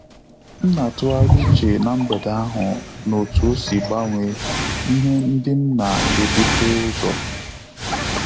M na-atughari uche na mgbede ahụ na-otu osi gbanwee ihe ndị m na-ebuta uzo